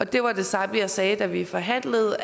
det var det samme jeg sagde da vi forhandlede